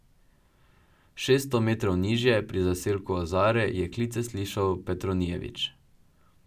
Šeststo metrov nižje, pri zaselku Ozare, je klice slišal Petronijevič.